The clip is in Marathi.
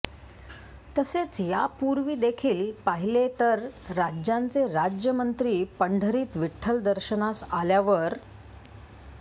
तसेच यापूर्वी देखिल पाहीले तर राज्यांचे राज्यमंत्री पंढरीत विठठल दर्शनास आल्यावर